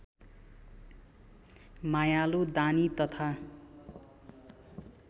मायालु दानी तथा